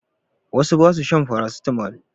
Wasu ba su shan farasitamo.